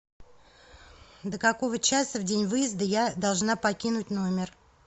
до какого часа в день выезда я должна покинуть номер